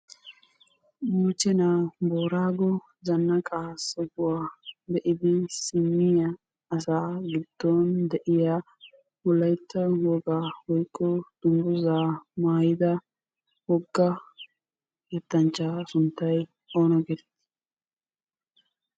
Moochenna Booraggo zanqqa sohuwaa be'iddi simiyaa asa giddon de'"yaa wolaytta wogaa woykko dunguzza maayidda wogga yetanchcha sunttay oona getetti?